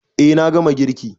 E, na gama girki.